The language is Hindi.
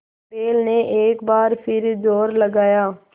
बैल ने एक बार फिर जोर लगाया